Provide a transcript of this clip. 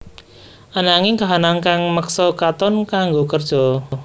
Ananging kahanan kang meksa Katon kanggo kerja